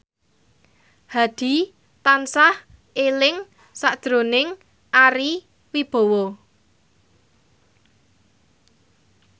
Hadi tansah eling sakjroning Ari Wibowo